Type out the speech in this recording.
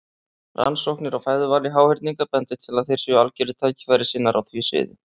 Rannsóknir á fæðuvali háhyrninga bendir til að þeir séu algjörir tækifærissinnar á því sviði.